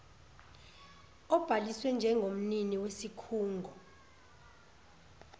obhaliswe njengomnini wesikhungo